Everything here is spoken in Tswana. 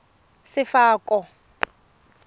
sefako